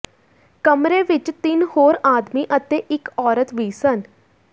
ਕਮਰੇ ਵਿਚ ਤਿੰਨ ਹੋਰ ਆਦਮੀ ਅਤੇ ਇਕ ਔਰਤ ਵੀ ਸਨ